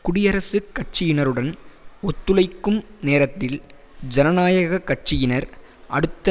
குடியரசுக் கட்சியினருடன் ஒத்துழைக்கும் நேரத்தில் ஜனநாயக கட்சியினர் அடுத்த